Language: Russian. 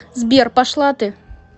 сбер пошла ты